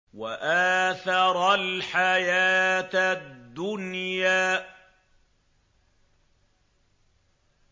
وَآثَرَ الْحَيَاةَ الدُّنْيَا